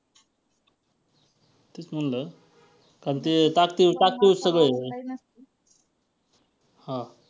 तेच म्हंटल कारण ते ताकतीवर ~ ताकतीवर सगळं आहे . हां